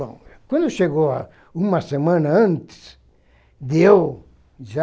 Bom, quando chegou lá uma semana antes, deu já.